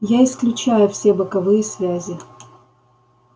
я исключаю все боковые связи